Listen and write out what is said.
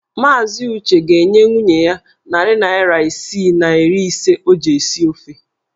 Maazị Uche ga-enye nwunye ya narị naira isii na iri ise o ji esi ofe.